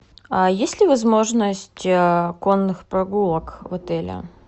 а есть ли возможность конных прогулок в отеле